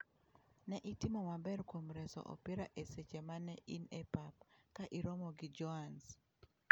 Ne itimo maber kuom reso opira e seche ma ne in e pap ka iromo gi Joanes.